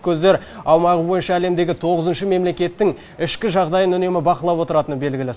көздер аумағы бойынша әлемдегі тоғызыншы мемлекеттің ішкі жағдайын үнемі бақылап отыратыны белгілі